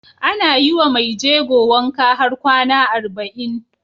Ana yiwa Mai jego wanka har kwAna arba'in